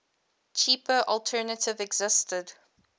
cheaper alternative existed